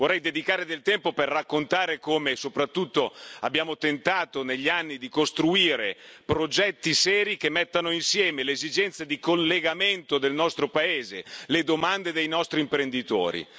Vorrei dedicare del tempo per raccontare come soprattutto abbiamo tentato negli anni di costruire progetti seri che mettano insieme le esigenze di collegamento del nostro paese, le domande dei nostri imprenditori.